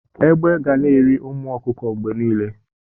Egbe ga na-eri ụmụ ọkụkọ mgbe niile.